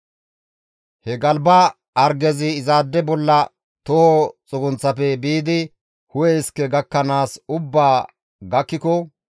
He galba hargezi izaade bolla toho xugunththafe biidi hu7e iske gakkanaas ubbaa gakkiko,